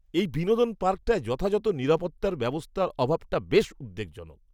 এই বিনোদন পার্কটায় যথাযথ নিরাপত্তা ব্যবস্থার অভাবটা বেশ উদ্বেগজনক।